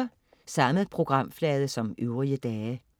Samme programflade som øvrige dage